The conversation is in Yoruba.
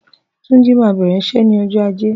Tunji mà bẹrẹ iṣẹ ni ọjọ àjé